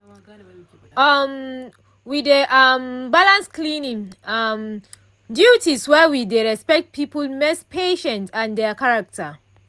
um we dey um balance cleaning um duties while we dey respect people mess patience and dia character